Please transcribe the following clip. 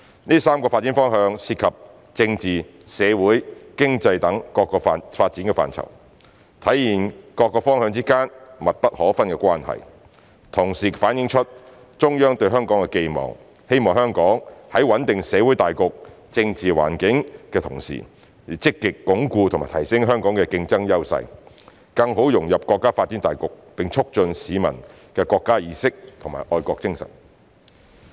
這3個發展方向涉及政治、社會、經濟等各個發展範疇，體現各方向之間密不可分的關係，同時反映出中央對香港的寄望：希望香港在穩定社會大局、政治環境的同時，要積極鞏固及提升香港的競爭優勢，更好融入國家發展大局，並促進市民的國家意識和愛國精神。